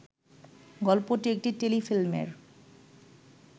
গল্পটি একটি টেলিফিল্মের